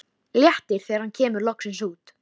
Hversu líknsöm hafði þá hin Æðsta Vera reynst honum!